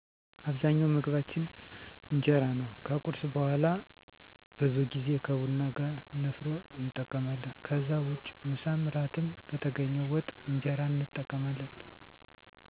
አብዛኛው ምግባችን እጀራ ነው ከቁርስ በውሀላ ብዙ ጌዜ ከቡና ጋር ነፋሮ እንጠቀማለን ከዛ ውጭ ምሳም እራትም በተገኘው ወጥ እንጀራን እንጠቀማለን